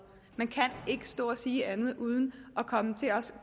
man kan ikke stå og sige andet uden at komme til at